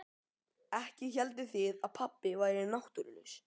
Ekki hélduð þið að pabbi væri náttúrulaus?